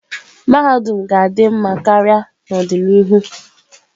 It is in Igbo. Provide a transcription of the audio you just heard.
Mahadum ga-adị mma karịa n'ọdịnihu.